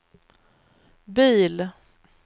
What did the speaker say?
bil